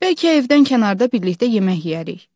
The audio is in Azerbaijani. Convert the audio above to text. Bəlkə evdən kənarda birlikdə yemək yeyərik.